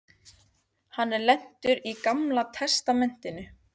Ég er lentur í Gamla testamentinu.